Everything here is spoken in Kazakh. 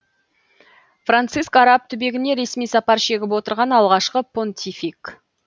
франциск араб түбегіне ресми сапар шегіп отырған алғашқы понтифик